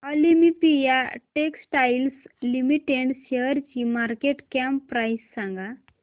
Olympia textiles limited शेअरची market cap price सांगा